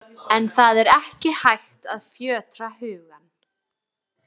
En það er ekki hægt að fjötra hugann.